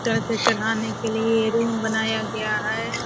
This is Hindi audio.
चढ़ाने के लिए रूम बनाया गया है ।